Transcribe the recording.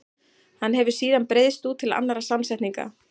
Hann hefur síðan breiðst út til annarra samsetninga.